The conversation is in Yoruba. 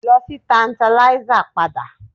Lọ sí Tantalizer padà